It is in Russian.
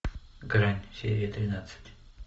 грань серия тринадцать